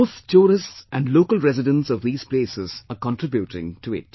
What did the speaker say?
Both tourists and local residents of these places are contributing to it